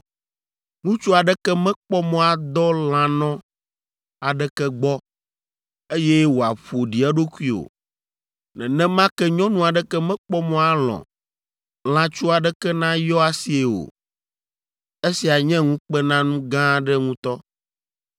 “ ‘Ŋutsu aɖeke mekpɔ mɔ adɔ lãnɔ aɖeke gbɔ, eye wòaƒo ɖi eɖokui o. Nenema ke nyɔnu aɖeke mekpɔ mɔ alɔ̃ lãtsu aɖeke nayɔ asii o. Esia nye ŋukpenanu gã aɖe ŋutɔ.